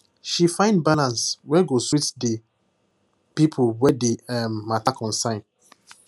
she find balance wey go sweet the people wey the um matter concern